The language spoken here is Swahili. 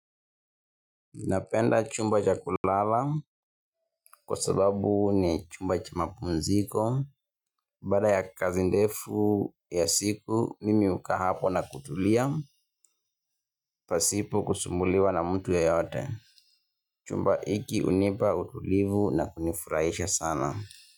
Napenda chumba cha kulala kwa sababu ni chumba cha mapumziko. Baada ya kazi ndefu ya siku, mimi hukaa hapo na kutulia. Pasipo kusumbuliwa na mtu yeyote. Chumba hiki hunipa utulivu na hunifurahisha sana.